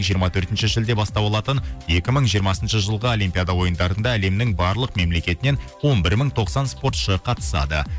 жиырма төртінші шілде бастау алатын екі мың жиырмасыншы жылғы олимпиада ойындарында әлемнің барлық мемлекетінен он бір мың тоқсан спортшы қатысады